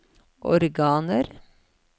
organer